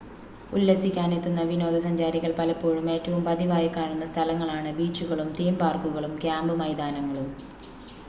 ഉല്ലസിക്കാനെത്തുന്ന വിനോദ സഞ്ചാരികൾ പലപ്പോഴും ഏറ്റവും പതിവായി കാണുന്ന സ്ഥലങ്ങളാണ് ബീച്ചുകളും തീം പാർക്കുകളും ക്യാമ്പ് മൈതാനങ്ങളും